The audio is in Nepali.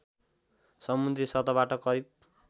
समुद्री सतहबाट करिब